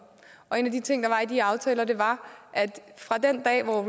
og en af de ting der var i de aftaler var at fra den dag hvor